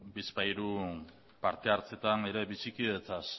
bizpahiru parte hartzetan ere bizikidetzaz